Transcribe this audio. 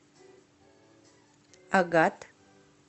агат